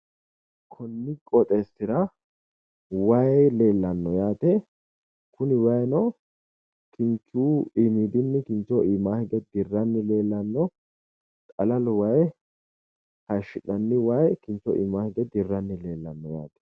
Konni qoxeessira wayi leellanno yaate kuni wayiino kinchu iimidinni kinchoho iimaa hige dirranni leellanno xalalu wayi hayiishshi'nanni wayi kinxhoho iimaa hige dirranni leellanno yaate.